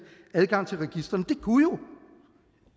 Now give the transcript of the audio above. adgang til registrene det kunne jo